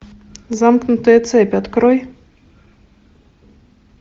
замкнутая цепь открой